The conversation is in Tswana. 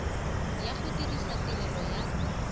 ya go dirisa tirelo ya